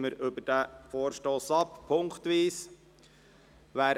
Dann stimmen wir über diesen Vorstoss punktweise ab.